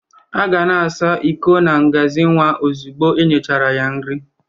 A ga na-asa iko na ngazi nwa ozigbo e nyechara ha nri